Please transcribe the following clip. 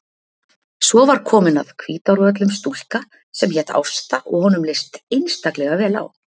Svo var komin að Hvítárvöllum stúlka sem hét Ásta og honum leist einstaklega vel á.